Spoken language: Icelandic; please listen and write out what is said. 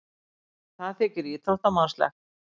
Það þykir íþróttamannslegt.